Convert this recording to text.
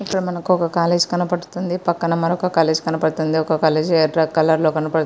ఇక్కడ మనకు ఒక కాలేజీ కనబడుతుంది. పక్కన మరొక కాలేజీ కనబడుతుంది. ఒక కాలేజీ ఎర్ర కలర్ లో కనపడు--